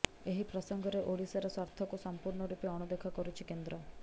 ଏହି ପ୍ରସଙ୍ଗରେ ଓଡ଼ିଶାର ସ୍ୱାର୍ଥକୁ ସଂପୂର୍ଣ୍ଣ ରୂପେ ଅଣଦେଖା କରୁଛି କେନ୍ଦ୍ର